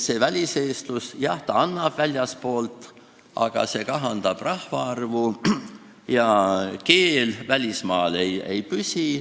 Väliseestlus, jah, annab väljastpoolt midagi, aga see kahandab rahvaarvu ja keel välismaal ei püsi.